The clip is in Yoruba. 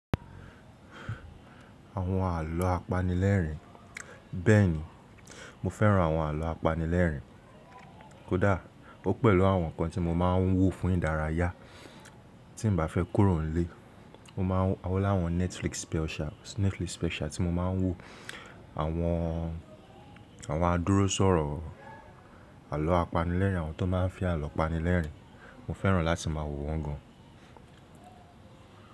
Àwọn àlọ́ apanilẹ́rìn. Bẹ́ẹ̀ni, mo fẹ́ràn àwọn àlọ́ apanilẹ́rìn. Kódà ó pẹ̀lú àwọn ǹkan tí mo máa ń wò fún ìdárayá tí n ba fẹ́ kúrò nílé. Mo ma wó láwọn Netflix special tí mo ma ń wò. Àwọn, àwọn adúróṣòro àlọ́ apanilẹ́rìn, àwọn tó ma ń fi àlọ́ apanilẹ́rìn, mo fẹ́ràn láti má a wò wọ́n gan.